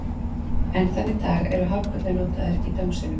Enn þann dag í dag eru hárkollur notaðar í dómsölum.